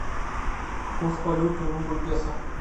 курс валюты рубль песо